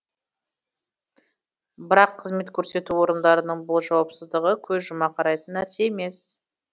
бірақ қызмет көрсету орындарының бұл жауапсыздығы көз жұма қарайтын нәрсе емес